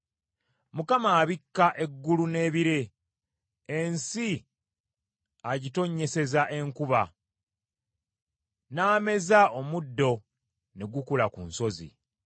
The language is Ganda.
Mukama abikka eggulu n’ebire, ensi agitonnyeseza enkuba, n’ameza omuddo ne gukula ku nsozi.